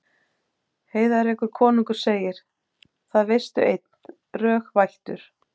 Heiðrekur konungur segir: Það veistu einn, rög vættur